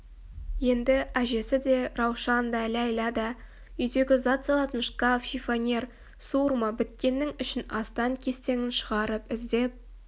енді әжесі де раушан да ләйлә да үйдегі зат салатын шкаф шифоньер суырма біткеннің ішін астан-кестеңін шығарып іздеп